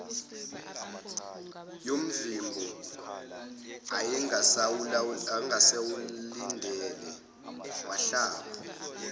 yomvimbo ayengasawulindele wahlaba